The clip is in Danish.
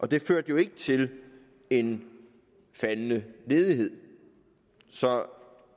det førte jo ikke til en faldende ledighed så